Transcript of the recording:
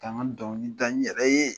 K a n ka dɔnkili da n yɛrɛ ye